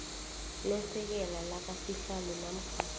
lesekela lakasihlalo namkha